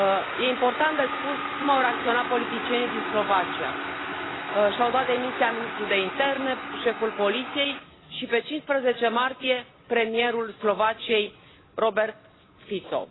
Este important de spus cum au reacționat politicienii din Slovacia și au dat demisia ministrul de Interne, șeful Poliției și, pe 15 martie 2018, premierul Slovaciei, Robert Fico.